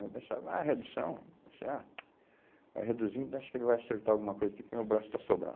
Eu pensava, ah, redução, vai ser, ah, vai reduzir, acho que ele vai acertar alguma coisa aqui, porque o meu braço está sobrando.